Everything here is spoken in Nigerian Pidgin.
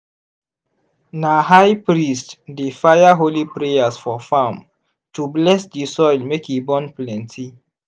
na high priest dey fire holy prayers for farm to bless di soil make e born plenty.